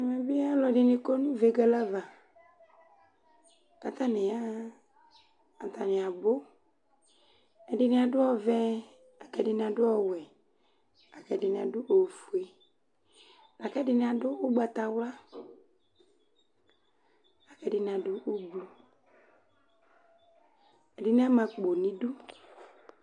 Ɛmɛ bɩ alʋ ɛdɩnɩ kɔ nʋ vegele ava; katnɩ yaɣa ,atanɩ abʋ: ɛdɩnɩ adʋ ɔvɛ ak 'ɛdɩnɩ adʋ ɔwɛ, akɛdɩnɩ adʋ ofue, akʋ ɛdɩnɩ adʋ ʋgbatawla ,akɛdɩnɩ adʋ ublu, ɛdɩnɩ ama akpo n' idu